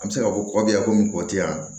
An bɛ se k'a fɔ ko kɔ bɛ yan komi kɔti yan